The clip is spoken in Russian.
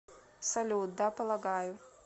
салют да полагаю